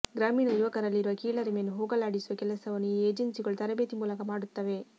ಗ್ರಾಮೀಣ ಯುವಕರಲ್ಲಿರುವ ಕೀಳರಿಮೆಯನ್ನು ಹೋಗಲಾಡಿಸುವ ಕೆಲಸವನ್ನು ಈ ಎಜೆನ್ಸಿಗಳು ತರಬೇತಿ ಮೂಲಕ ಮಾಡುತ್ತವೆ